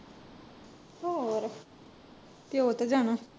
ਹੋਰ ਪਿਓ ਤੇ ਜਾਣਾ।